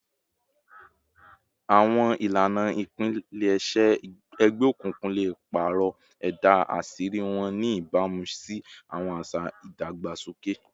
Awọn ilana ipilẹṣẹ egbeokunkun le paarọ ẹda aṣiri wọn, ni ibamu si awọn aṣa idagbasoke